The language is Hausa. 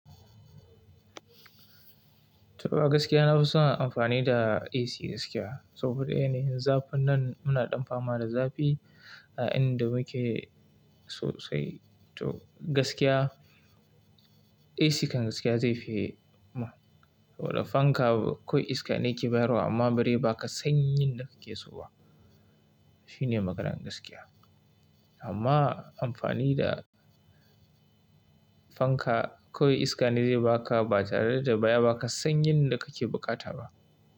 To gaskiya na fi son amfani da AC gaskiya. Saboda yanayin zafin nan muna dan fama da zafi a inda muke sosai. To gaskiya AC kan gaskiya zai fi ma, saboda fanka kawai iska ne ya ke bayarwa amma bari ba ka san yin da kake so ba. Shine maganan gaskiya. Amma amfani da fanka kawai iska ne zai baka ba tare da ya ba ka san yin da kake bukata ba.